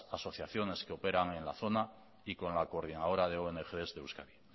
asociaciones que operan en la zona y con la coordinadora de ong de euskadi